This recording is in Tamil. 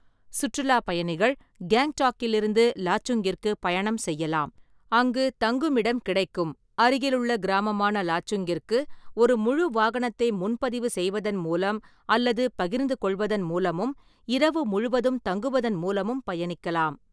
சுற்றுலாப் பயணிகள் கேங்டாக்கிலிருந்து லாச்சுங்கிற்கு பயணம் செய்யலாம், அங்கு தங்குமிடம் கிடைக்கும் அருகிலுள்ள கிராமமான லாச்சுங்கிற்கு, ஒரு முழு வாகனத்தை முன்பதிவு செய்வதன் மூலம் அல்லது பகிர்ந்துகொள்வதன் மூலமும், இரவு முழுவதும் தங்குவதன் மூலமும் பயணிக்கலாம்.